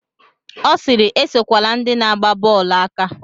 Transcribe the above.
Ọ sịịrị, esokwala ndị na-agba bọọlụ aka.